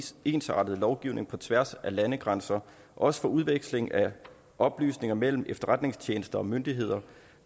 ensartet lovgivning på tværs af landegrænser også for udveksling af oplysninger mellem efterretningstjenester og myndigheder